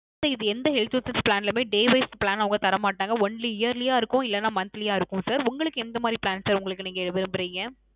Sir இது எந்த Health Insurance Plan லையுமே Day Wise plan அவங்க தரமாட்டாங்க Only yearly யா இருக்கும் இல்ல monthly யா இருக்கும் sir உங்களுக்கு எந்த மாதிரி Plan Sir உங்களுக்கு நீங்க விரும்புறீங்க